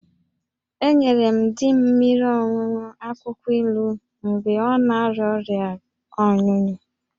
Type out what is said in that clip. Enyere m di m mmiri ọṅụṅụ akwụkwọ ilu mgbe ọ na-arịa ọrịa ọnyụnyụ